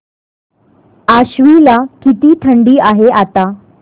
आश्वी ला किती थंडी आहे आता